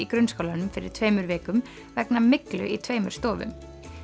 grunnskólanum fyrir tveimur vikum vegna myglu í tveimur stofum